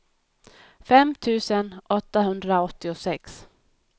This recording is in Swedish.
fem tusen åttahundraåttiosex